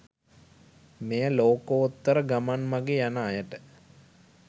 මෙය ලෝකෝත්තර ගමන් මගේ යන අයට